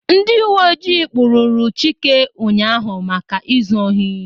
Ndị uwe ọjị kpụrụru Chike ụnyaahụ maka ịzụ ohi